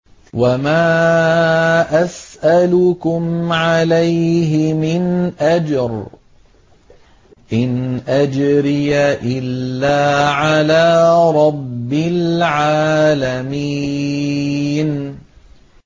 وَمَا أَسْأَلُكُمْ عَلَيْهِ مِنْ أَجْرٍ ۖ إِنْ أَجْرِيَ إِلَّا عَلَىٰ رَبِّ الْعَالَمِينَ